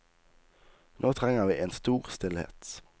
Nå trenger vi en stor stillhet.